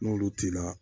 N'olu t'i la